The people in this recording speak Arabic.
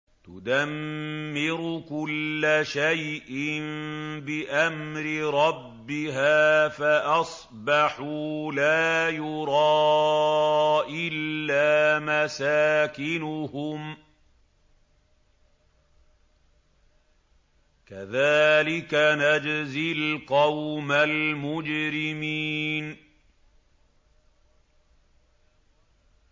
تُدَمِّرُ كُلَّ شَيْءٍ بِأَمْرِ رَبِّهَا فَأَصْبَحُوا لَا يُرَىٰ إِلَّا مَسَاكِنُهُمْ ۚ كَذَٰلِكَ نَجْزِي الْقَوْمَ الْمُجْرِمِينَ